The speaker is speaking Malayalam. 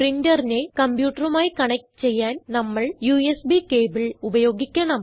പ്രിന്ററിനെ കംപ്യൂട്ടറുമായി കണക്റ്റ് ചെയ്യാൻ നമ്മൾ യുഎസ്ബി കേബിൾ ഉപയോഗിക്കണം